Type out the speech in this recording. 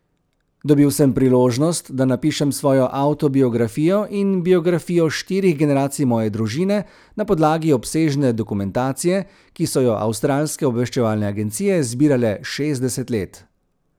Dobil sem priložnost, da napišem svojo avtobiografijo in biografijo štirih generacij moje družine na podlagi obsežne dokumentacije, ki so jo avstralske obveščevalne agencije zbirale šestdeset let.